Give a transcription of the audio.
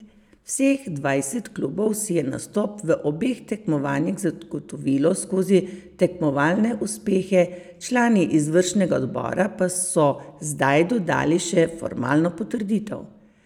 Vseh dvajset klubov si je nastop v obeh tekmovanjih zagotovilo skozi tekmovalne uspehe, člani izvršnega odbora pa so zdaj dodali še formalno potrditev.